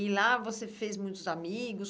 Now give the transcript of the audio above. E lá você fez muitos amigos?